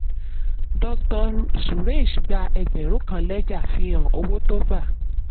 dr suresh gbà ẹgbẹ̀rún kan lẹ́jà fi hàn owó tó gba.